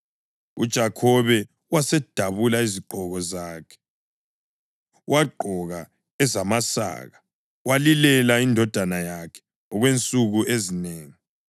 UJakhobe wasedabula izigqoko zakhe, wagqoka ezamasaka walilela indodana yakhe okwensuku ezinengi.